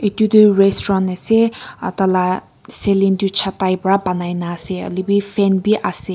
itutoh restaurant ase atala ceilin tu chhata pra banaina ase hoilebi fan bi ase.